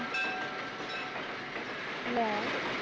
ਲੈ